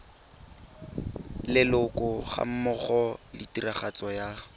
leloko gammogo le tiragatso ya